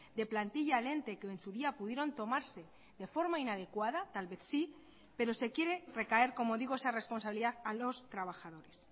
de plantilla al ente que en su día pudieron tomarse de forma inadecuada tal vez sí pero se quiere recaer como digo esa responsabilidad a los trabajadores